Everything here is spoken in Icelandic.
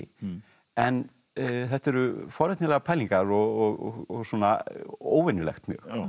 en þetta eru forvitnilegar pælingar og svona óvenjulegt mjög